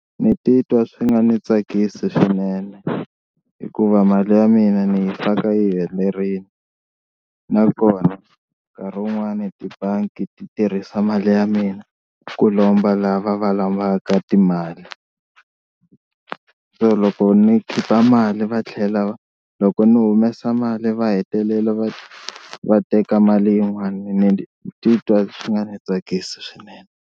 Ni titwa swi nga ni tsakisi swinene hikuva mali ya mina ni yi faka yi helerile nakona nkarhi wun'wani tibangi ti tirhisa mali ya mina ku lomba lava va lavaka timali, se loko ni khipa mali va tlhela va loko ni humesa mali va hetelela va va teka mali yin'wani ni titwa swi nga ni tsakisi swinene.